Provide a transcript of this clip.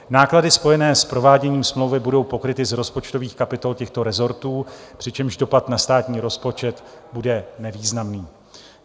Náklady spojené s prováděním smlouvy budou pokryty z rozpočtových kapitol těchto rezortů, přičemž dopad na státní rozpočet bude nevýznamný.